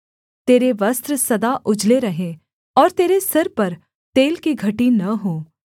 तेरे वस्त्र सदा उजले रहें और तेरे सिर पर तेल की घटी न हो